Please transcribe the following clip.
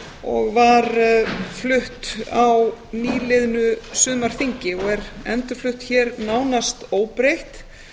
og var flutt á nýliðnu sumarþingi og er endurflutt hér nánast óbreytt